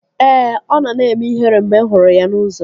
Ee, ọ nọ na-eme ihere mgbe m hụrụ ya n'ụzọ